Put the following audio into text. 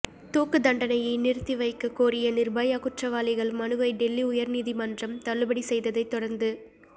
தூக்குத்தண்டனையை நிறுத்திவைக்க கோரிய நிர்பயா குற்றவாளிகள் மனுவை டெல்லி உயர்நீதிமன்றம் தள்ளுபடி செய்ததை தொடர்ந்து